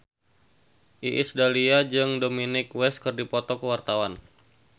Iis Dahlia jeung Dominic West keur dipoto ku wartawan